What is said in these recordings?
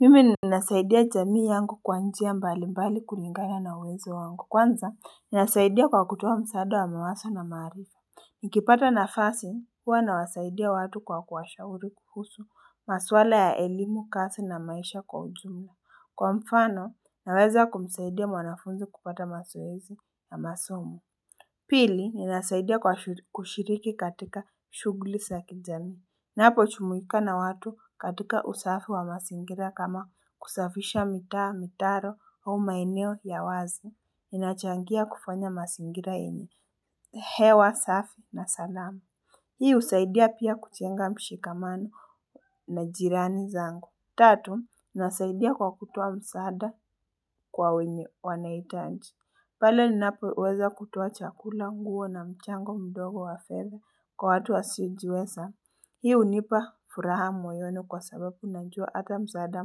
Mimi ninasaidia jamii yangu kwa njia mbali mbali kulingana na uwezo wangu. Kwanza, ninasaidia kwa kutoa msaada wa mawazo na maarifa. Nikipata nafasi, huwa nawasaidia watu kwa kuwashauri kuhusu, maswala ya elimu, kazi na maisha kwa ujumla. Kwa mfano, naweza kumsaidia mwanafunzi kupata mazoezi na masomo. Pili, ninasaidia kwa kushiriki katika shughli za kijamii. Napojumuika na watu katika usafi wa mazingira kama kusafisha mitaa, mitaro au maeneo ya wazi. Ninachangia kufanya mazingira yenye. Hewa, safi na salama. Hii husaidia pia kujenga mshikamano na jirani zangu. Tatu, nasaidia kwa kutoa msaada kwa wenye wanahitaji. Pale ninapo weza kutoa chakula nguo na mchango mdogo wa fedha kwa watu wasiojiweza. Hio hunipa furaha mwoyoni kwa sababu najua hata msaada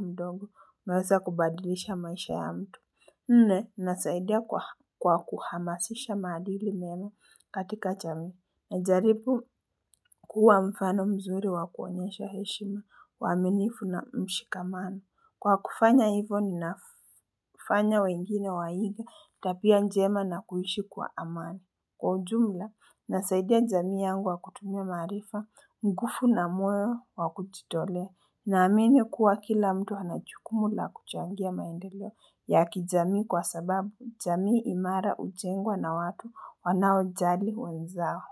mdogo unaweza kubadilisha maisha ya mtu. Nne, nasaidia kwa kuhamasisha maadili mema katika jami. Najaribu kuwa mfano mzuri wakuonyesha heshima, uaminifu na mshikamano. Kwa kufanya hivyo ninafanya wengine waige, tabia njema na kuishi kwa amani. Kwa ujumla, nasaidia jamii yangu kwa kutumia maarifa, nguvu na moyo wa kujitolea, naamini kuwa kila mtu anajukumu la kuchangia maendeleo ya kijamii kwa sababu jamii imara hujengwa na watu wanaojali wenzao.